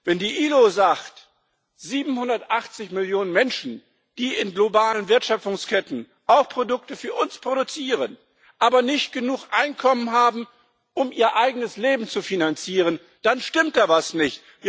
Wenn die IAO sagt, dass 780 Millionen Menschen, die in globalen Wertschöpfungsketten auch Produkte für uns produzieren, nicht genug Einkommen haben, um ihr eigenes Leben zu finanzieren dann stimmt da etwas nicht!